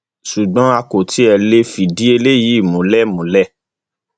ṣùgbọn a kò tí ì lè fìdí eléyìí múlẹ múlẹ